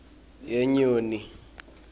yenyoni